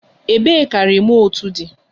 Ebee ka remootu di?